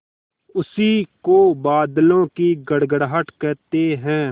उसी को बादलों की गड़गड़ाहट कहते हैं